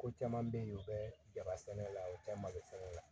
Ko caman bɛ yen u bɛ jaba sɛnɛ la u tɛ malo sɛnɛ